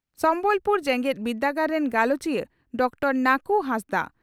ᱥᱚᱢᱵᱚᱞᱯᱩᱨ ᱡᱮᱜᱮᱛ ᱵᱤᱨᱫᱟᱹᱜᱟᱲ ᱨᱤᱱ ᱜᱟᱞᱚᱪᱤᱭᱟᱹ ᱰᱨᱹ ᱱᱟᱠᱩ ᱦᱟᱸᱥᱫᱟᱜ